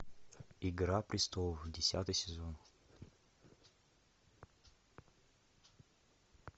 игра престолов десятый сезон